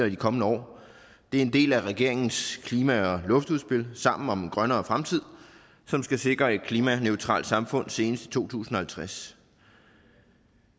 de kommende år det er en del af regeringens klima og luftudspil sammen om en grønnere fremtid som skal sikre et klimaneutralt samfund senest i to tusind og halvtreds og